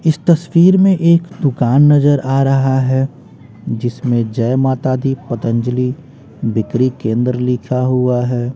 इस तस्वीर में एक दुकान नजर आ रहा है जिसमें जय माता दी पतंजलि बिक्री केंद्र लिखा हुआ है।